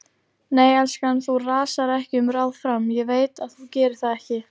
Nei, elskan, þú rasar ekki um ráð fram, ég veit að þú gerir það ekki.